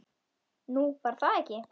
Nú, var það ekki?